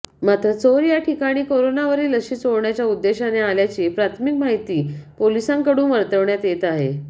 मात्र चोर या ठिकाणी करोनावरील लशी चोरण्याच्या उद्देशाने आल्याची प्राथमिक माहिती पोलिसांकडून वर्तवण्यात येत आहे